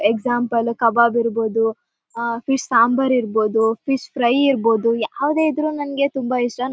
example ಕಬಾಬ್ ಇರ್ಬಹುದು ಅಹ್ ಫಿಶ್ ಸಾಂಬಾರ್ ಇರ್ಬಹುದು ಫಿಶ್ ಫ್ರೈ ಇರ್ಬಹುದು ಯಾವದೇ ಇದ್ರು ನನಗೆ ತುಂಬಾ ಇಷ್ಟ ನ--